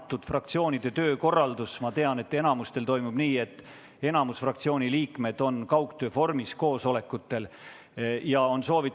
Ma tean, et fraktsioonide töökorraldus on enamikul selline, et enamik fraktsiooni liikmeid osaleb koosolekutel kaugtöö vormis.